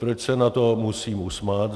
Proč se nad tím musím usmát?